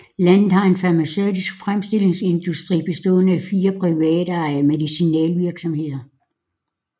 Landet har en farmaceutisk fremstillingsindustri bestående af fire privatejede medicinalvirksomheder